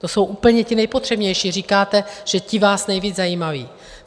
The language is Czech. To jsou úplně ti nejpotřebnější, říkáte, že ti vás nejvíc zajímají.